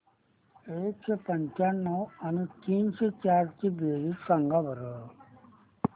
एकशे पंच्याण्णव आणि तीनशे चार ची बेरीज सांगा बरं